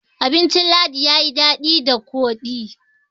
abincin ladi ya yi dadi da kodi